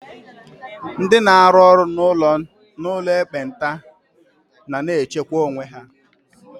Ndị n'arụ n'ụlọ ekpenta na na-echekwa onwe ha.